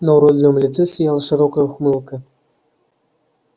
на уродливом лице сияла широкая ухмылка